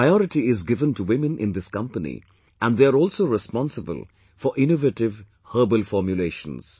Priority is given to women in this company and they are also responsible for innovative herbal formulations